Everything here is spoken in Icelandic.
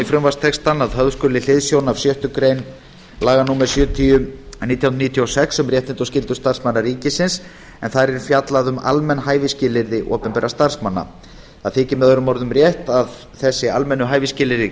frumvarpstextann að höfð skuli hliðsjón af sjöttu grein laga númer sjötíu nítján hundruð níutíu og sex um réttindi og skyldur starfsmanna ríkisins en þar er fjallað um almenn hæfisskilyrði opinberra starfsmanna það þykir með öðrum orðum rétt að þessi almennu hæfisskilyrði